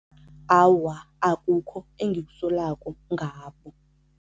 Awa, akukho engikusolako ngabo.